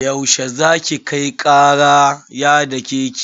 Yau she za ki kai kara ya dake ki?